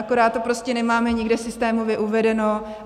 Akorát to prostě nemáme nikde systémově uvedeno.